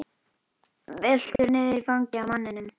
Veltur niður í fangið á manninum.